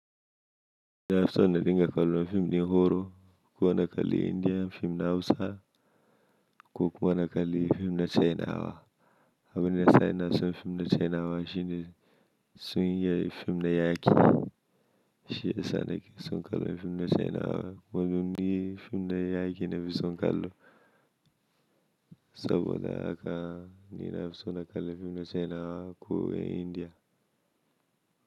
Ni na fi so na dinga kallo fim ɗin horo, ko na kalli Indiyan fim na Hausa ko kuma na kalli fim na China wa. Abin da ya sa ina son fim na China wa shine sun iya fim na yaƙi, shi ya sa nake son kallon fim na China wa domin ni fim na yaƙi na fi son kallo. Saboda haka ni na fi so na kalli fim na China wa ko India.